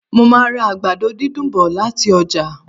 Mo màá ra àgbàdo dídùn bọ̀ lati ọ́jà